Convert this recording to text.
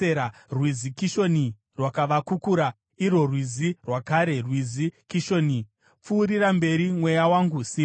Rwizi Kishoni rwakavakukura, irwo rwizi rwakare, rwizi Kishoni. Pfuurira mberi, mweya wangu, simba!